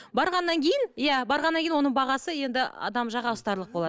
барғаннан кейін иә барғаннан кейін оның бағасы енді адам жаға ұстарлық болады